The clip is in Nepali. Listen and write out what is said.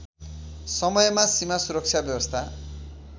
समयमा सीमासुरक्षा व्यवस्था